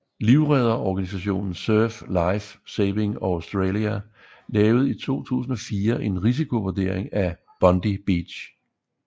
Livredderorganisationen Surf Life Saving Australia lavede i 2004 en risikovurdering af Bondi Beach